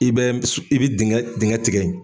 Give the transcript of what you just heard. I bɛ i bɛ dingɛ dingɛ tigɛ.